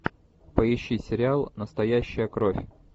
поищи сериал настоящая кровь